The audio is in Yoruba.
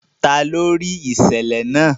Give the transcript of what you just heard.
Tani o rii iṣẹlẹ naa?